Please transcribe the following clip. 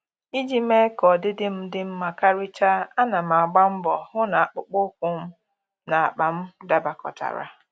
Iji mee ka ọdịdị m dị mma karịcha, ana m agba mbọ hụ na akpụkpọ ụkwụ na akpa m dabakọtara